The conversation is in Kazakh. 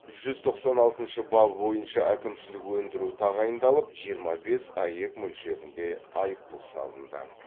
жүз тоқсан алтыншы бабы бойынша әкімшілік өндіру тағайындалып жиырма бес аек мөлшерінде айыппұл салынды